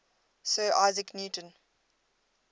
sir isaac newton